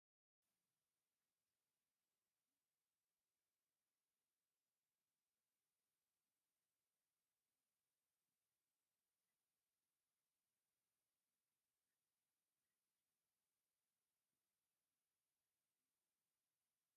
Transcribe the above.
ኣብ ስክሪን ተለቪዥን ዝቐርብ ገጠር እዩ። ኣብ ድሕሪት ድማ ሓምላይ ኣኽራንን ሰፊሕ ክፉት ግራውትን ኣሎ። ብሓፈሻ ስምዒት ናይ ሰላማውን ተፈጥሮኣውን እዩ።